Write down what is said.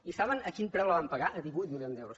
i saben a quin preu la van pagar a divuit milions d’euros